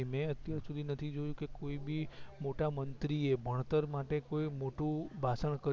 મે અત્યાર સુધી નથી જોયું કે બી મોટા મંત્રીએ ભણતર માટે કોઈ મોટું ભાષણ કર્યું